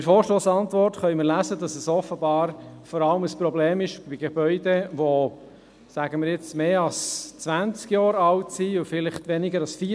In der Vorstossantwort können wir lesen, dass es offenbar vor allem ein Problem bei Gebäuden ist, die – sagen wir einmal – älter als 20-jährig und weniger als vielleicht 40-jährig sind.